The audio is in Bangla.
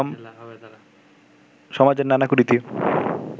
সমাজের নানা কুরীতি